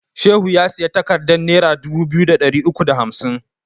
Shehu ya siyi takardan nera dubu biyu da ɗari uku da hamsin